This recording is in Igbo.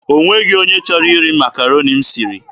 O nweghị onye chọrọ iri Makaroni m siri.